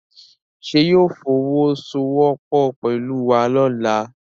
Ṣé yóò fọwọ́ sowọ́ pọ̀ pẹ̀lú wa lọ́la?